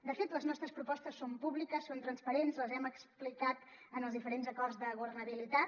de fet les nostres propostes són públiques són transparents les hem explicat en els diferents acords de governabilitat